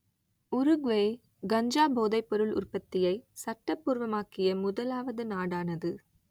Uruguay கஞ்சா போதைப்பொருள் உற்பத்தியை சட்டபூர்வமாக்கிய முதலாவது நாடானது